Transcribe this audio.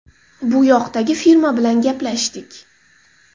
Bu yoqdagi firma bilan gaplashdik.